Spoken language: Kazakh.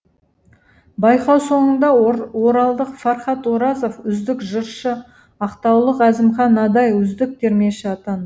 байқау соңында оралдық фархат оразов үздік жыршы ақтаулық әзімхан адай үздік термеші атанды